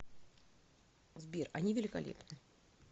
сбер они великолепны